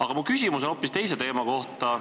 Aga mu küsimus on hoopis teise teema kohta.